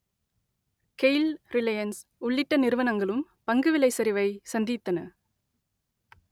Gayle Reliance உள்ளிட்ட நிறுவனங்களும் பங்கு விலை சரிவை சந்தித்தன